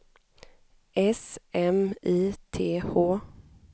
S M I T H